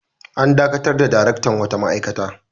An dakatar da daraktan wata ma'aikata.